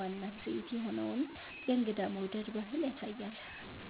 ዋና እሴት የሆነውን የእንግዳ መውደድ ባህል ያሳያል።